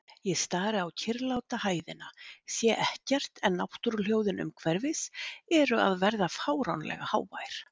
Ég stari á kyrrláta hæðina, sé ekkert en náttúruhljóðin umhverfis eru að verða fáránlega hávær.